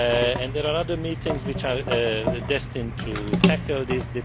and there are other meetings which are destined to tackle this.